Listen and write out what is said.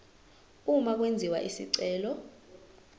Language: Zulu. uma kwenziwa isicelo